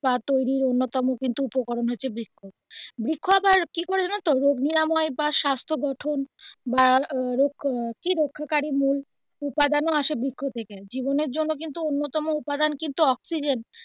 বা তৈরির অন্যতম কিন্তু উপকরণ হচ্ছে বৃক্ষ বৃক্ষ আবার কি করে জানো তো রোগ নিরাময় বা স্বাস্থ্য গঠন বা কি রক্ষাকারী মূল উপাদান ও আসে বৃক্ষ থেকে জীবনের জন্য কিন্তু অন্যতম উপাদান কিন্তু অক্সিজেন.